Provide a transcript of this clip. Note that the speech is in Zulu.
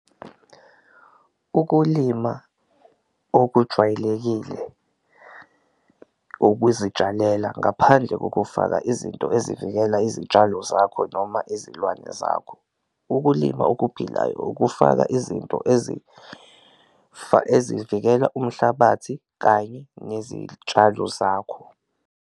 Ukulima okujwayelekile ukuzitshalela ngaphandle kokufaka izinto ezivikela izitshalo zakho noma izilwane zakho, ukulima okuphilayo ukufaka izinto ezivikela umhlabathi kanye zakho.